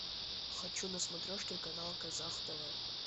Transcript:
хочу на смотрешке канал казах тв